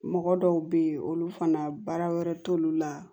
Mɔgɔ dɔw be yen olu fana baara wɛrɛ t'olu la